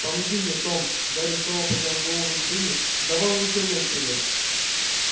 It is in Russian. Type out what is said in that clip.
помоги мне том гарри снова поднял голову джинни давай унесём её отсюда